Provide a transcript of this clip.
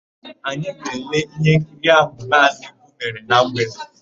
Anyị ga-ele íhénkiri áhụ̀ Maazị Ibu mere na mgbede.